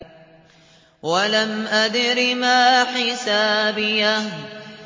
وَلَمْ أَدْرِ مَا حِسَابِيَهْ